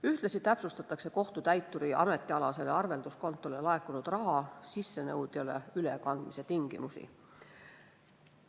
Ühtlasi täpsustatakse kohtutäituri ametialasele arvelduskontole laekunud raha sissenõudjale ülekandmise tingimusi.